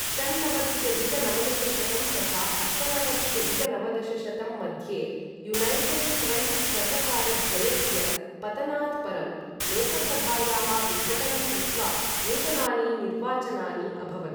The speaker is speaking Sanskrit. षण्णवत्यधिक नवदशशतं तथा अष्टनवत्यधिक नवदशशतं मध्ये युनैटेड् फ्रण्ट् सर्वकारद्वयस्य पतनात् परं, लोकसभायाः विघटनं कृत्वा नूतनानि निर्वाचनानि अभवन्।